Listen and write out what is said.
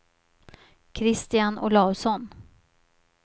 Kristian Olausson